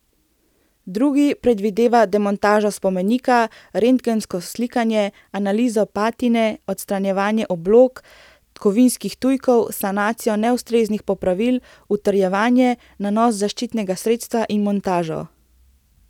Drugi predvideva demontažo spomenika, rentgensko slikanje, analizo patine, odstranjevanje oblog, kovinskih tujkov, sanacijo neustreznih popravil, utrjevanje, nanos zaščitnega sredstva in montažo.